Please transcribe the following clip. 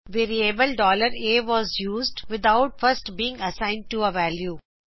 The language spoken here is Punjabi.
variable a was used without first being assigned to a value